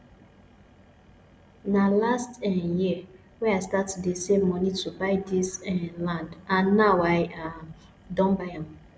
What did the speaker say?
na last um year wey i start to dey save money to buy dis um land and now i um don buy am